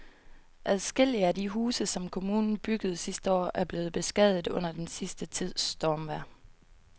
Adskillige af de huse, som kommunen byggede sidste år, er blevet beskadiget under den sidste tids stormvejr.